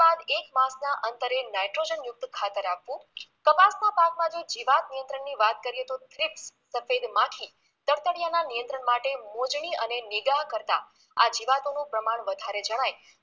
બાદ એક માસના અંતરે નઈટ્રોજન યુક્ત ખાતર આપવુ કપાસના પાક માટે જીવાત નિયત્રંણની વાત કરીએ તો થ્રીપ સફેદ માખી દફતરિયાના નિયંત્રણ માટે મોજણી અને નિગાહ કરતા આ જીવાતોનું પ્રમાણ વધારે જણાય